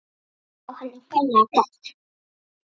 Já, hann á ferlega bágt.